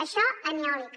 això en eòlica